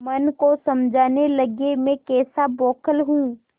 मन को समझाने लगेमैं कैसा बौखल हूँ